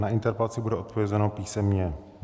Na interpelaci bude odpovězeno písemně.